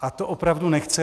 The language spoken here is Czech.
A to opravdu nechci.